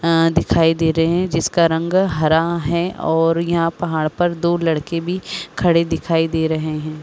अं दिखाई दे रहे हैं जिसका रंग हरा है और यहां पहाड़ पर दो लड़के भी खड़े दिखाई दे रहे हैं।